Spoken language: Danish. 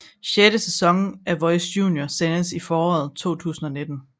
Sjette sæson af Voice Junior sendes i foråret 2019